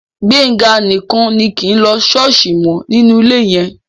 Gbénga nìkan ni kì í lọ ṣọ́ọ̀ṣì mọ́ nínú ilé yẹn